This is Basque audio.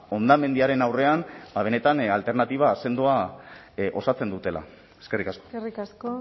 hondamendiaren aurrean ba benetan alternatiba sendoa osatzen dutela eskerrik asko eskerrik asko